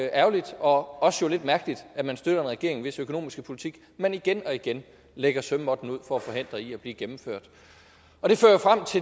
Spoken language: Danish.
ærgerligt og også lidt mærkeligt at man støtter en regering hvis økonomiske politik man igen og igen lægger sømmåtten ud for at forhindre i at blive gennemført